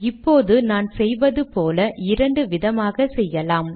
இப்போது நான் செய்வது போல இரண்டு விதமாக செய்யலாம்